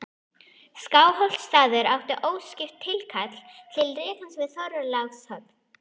Skálholtsstaður átti óskipt tilkall til rekans við Þorlákshöfn.